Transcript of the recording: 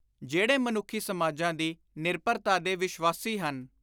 ਜਿਹੜੇ ਮਨੁੱਖੀ ਸਮਾਜਾਂ ਦੀ ਨਿਰਭਰਤਾ ਦੇ ਵਿਸ਼ਵਾਸੀ ਹਨ